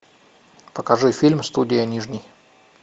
покажи фильм студия нижний